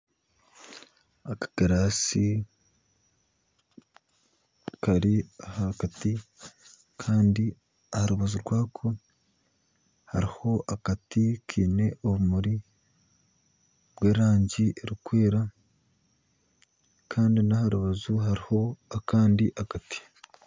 Akagirasi Kari ahakati Kandi aharubaju rwako haruho akati Kaine obumuri bw'erangi erukwera kandi naharubaju haruho akandi akati.